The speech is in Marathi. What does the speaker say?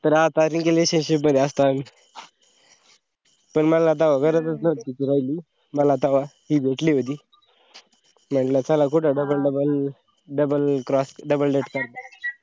तर आता नई का relationship मध्ये असतो आम्ही पण मला तेव्हा गरज च नव्हती तिची राहिली माला तेव्हा हि भेटली होती म्हणलं चला कुठं double double double cross double date करता,